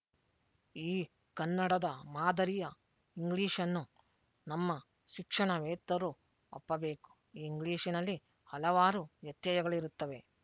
ಈ ಕನ್ನಡದ ಮಾದರಿಯ ಇಂಗ್ಲೀಷ್ ನ್ನು ನಮ್ಮ ಶಿಕ್ಷಣವೇತ್ತರು ಒಪ್ಪಬೇಕು ಈ ಇಂಗ್ಲಿಶಿನಲ್ಲಿ ಹಲವಾರು ವ್ಯತ್ಯಯಗಳಿರುತ್ತವೆ